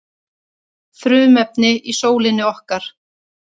frumefnin í sólinni okkar